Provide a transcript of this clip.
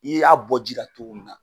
I y'a bɔ ji la cogo min na